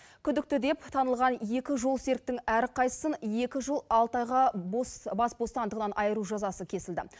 күдікті деп танылған екі жолсеріктің әрқайсысын екі жыл алты айға бас бостандығынан айыру жазасы кесілді